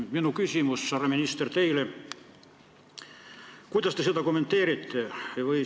Minu küsimus teile, härra minister, on: kuidas te seda kommenteerite?